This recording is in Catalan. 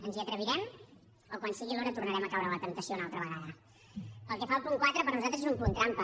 ens hi atrevirem o quan sigui l’hora tornarem a caure en la temptació una altra vegada pel que fa al punt quatre per nosaltres és un punt trampa